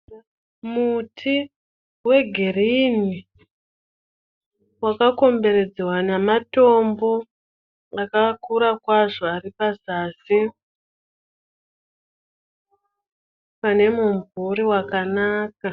Muti wegirinhi wakakomberedzwa nematombo akakura kwazvo ari pazasi pane mumvuri wakanaka.